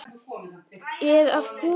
Ég er að koma.